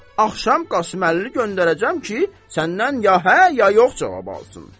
Axşam Qasımləli göndərəcəm ki, səndən ya hə, ya yox cavabı alsın.